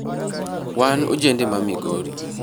Wan ojende ma Migori